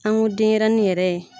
An ko denɲɛrɛnin yɛrɛ ye